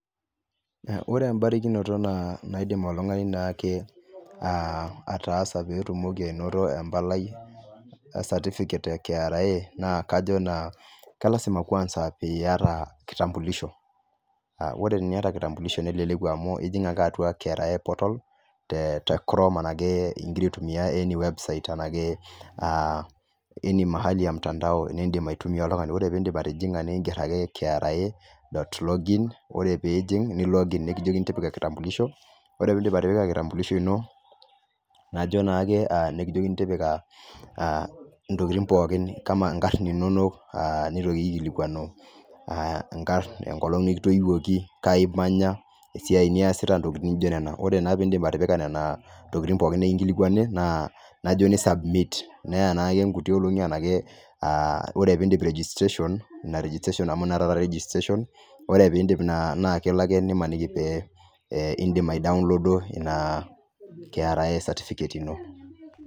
Wore embarakinoto naidim oltungani naake ataasa pee itumoki ainoto empalai e certificate e kra naa , kajo naa kelasima kwanza pee iata kitambulisho. Wore teniata kitambilisho neleleku amu ijing ake atua kra portal, te chrome araki ikira aitumia any website enake aa any mahali ya mtandao niidim aitumia oltungani. Wore pee iindip atijinga naa inger ake kra dot login, nikijokini tipika kitambulisho. Wore pee iindip atipika kitambulisho ino, najo naake nikijokini tipika, intokitin pookin ijo inkarn inonok nitoki aikilikuanu inkarn enkolong' nikitoiwuoki, kai imanya, esiai niasita intokitin naijo niana. Wore naa piindip atipika niana tokitin pookin, nikinkilikuani, najo ni submit. Neya naake inkutik oleng' enaake, wore pee iindip registration, inia registration amu ninye naapa registration , wore pee indip naa kelo ake nimaniki pee iindim aidownlooda inia kra certificate ino.